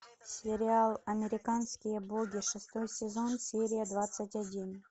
сериал американские боги шестой сезон серия двадцать один